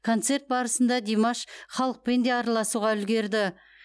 концерт барысында димаш халықпен де арласуға үлгерді